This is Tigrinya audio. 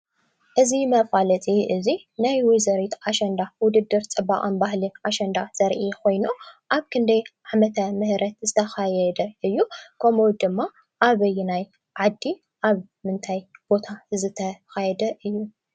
እዚ መፋለጢ እዚ ናይ ወይዘሪት ኣሸንዳ ውድድር ፅባቀን ባህልን ኣሸንዳ ዘርኢ ኮይኑ ኣብ ክንደይ ዓመተ ምህረት ዝተኻየደ እዩ? ከምኡ ድማ ኣበየናይ ዓዲ? ኣብ ምንታይ ቦታ ዝተኻየደ እዩ ?